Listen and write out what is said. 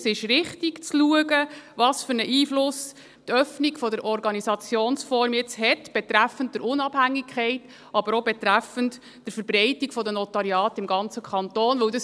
Es ist richtig zu schauen, welchen Einfluss die Öffnung der Organisationsform jetzt betreffend Unabhängigkeit, aber auch betreffend Verbreitung der Notariate im ganzen Kanton hat.